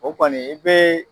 O kɔni e bɛ.